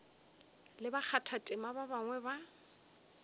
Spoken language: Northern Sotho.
le bakgathatema ba bangwe ba